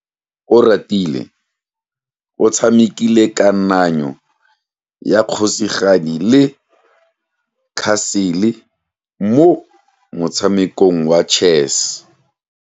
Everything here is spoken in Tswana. Oratile o tshamekile kananyo ya kgosigadi le khasele mo motshamekong wa chess.